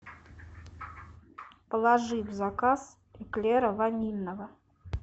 положи в заказ эклера ванильного